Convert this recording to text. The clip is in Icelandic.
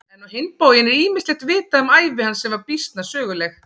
En á hinn bóginn er ýmislegt vitað um ævi hans sem var býsna söguleg.